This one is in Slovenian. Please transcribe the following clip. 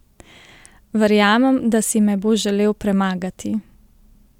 Verjamem, da si me bo želel premagati!